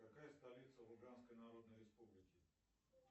какая столица луганской народной республики